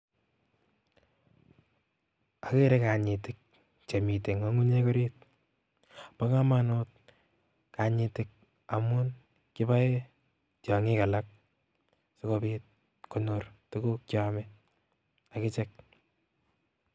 Okere kanyitik chemiten ng'ung'unyek oriit, bokomonut kanyitik amun kiboen tiong'ik alak, sikobit konyor tukuk cheome akichek.